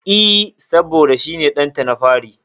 E, saboda shi ne ɗanta na fari.